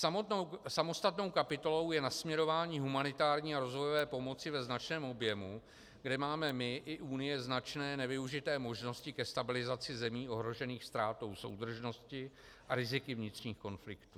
Samostatnou kapitolou je nasměrování humanitární a rozvojové pomoci ve značném objemu, kde máme my i Unie značné nevyužité možnosti ke stabilizaci zemí ohrožených ztrátou soudržnosti a riziky vnitřních konfliktů.